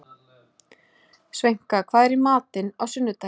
Sveinka, hvað er í matinn á sunnudaginn?